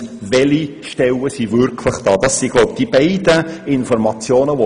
Meines Erachtens brauchen wir diese beiden Informationen.